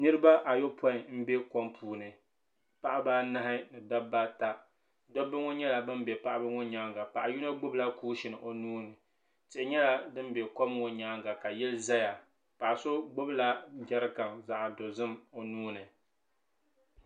Niriba ayɔpɔin m-be kom puuni paɣiba anahi ni dabba ata dobba ŋɔ nyɛla ban be paɣiba ŋɔ nyaaŋa paɣa yino gbubila kuushin o nuu ni tihi nyɛla din be kom ŋɔ nyaaŋa ka yili zaya paɣa so gbubila jɛrikani zaɣ'dozim o nuu ni.